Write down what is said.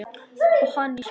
Og hann í sjóinn.